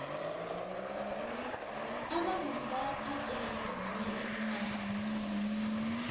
abavumi bayathatjelwa kwezinye iinarha